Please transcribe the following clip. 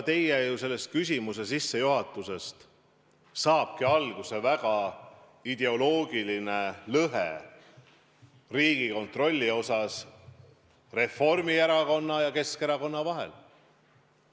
Teie küsimuse sellisest sissejuhatusest saabki alguse Riigikontrolli puudutav ideoloogiline lõhe Reformierakonna ja Keskerakonna vahel.